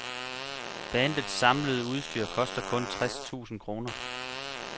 Bandets samlede udstyr koster kun tres tusind kroner.